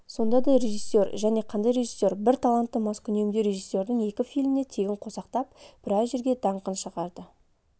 сонда да режиссер және қандай режиссер бір талантты маскүнемдеу режиссердің екі фильміне тегін қосақтап біраз жерге даңқын шығарды